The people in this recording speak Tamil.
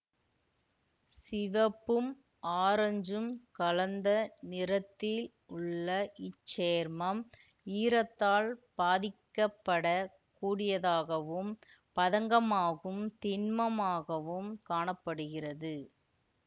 சிவப்பும் ஆரஞ்சும் கலந்த நிறத்தில் உள்ள இச்சேர்மம் ஈரத்தால் பாதிக்கப்படக் கூடியதாகவும் பதங்கமாகும் திண்மமாகவும் காண படுகிறது